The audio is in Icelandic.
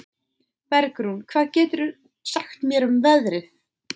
Bergrún, hvað geturðu sagt mér um veðrið?